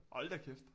Hold da kæft